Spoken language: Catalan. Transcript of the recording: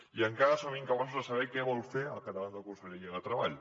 i encara som incapaços de saber què vol fer al capdavant de la conselleria de treball